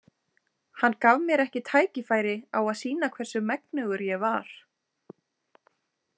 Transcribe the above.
Hann gaf mér ekki tækifæri á að sýna hvers megnugur ég var.